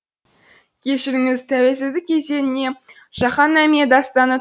кешіріңіз тәуелсіздік кезеңіне жаһан наме дастаны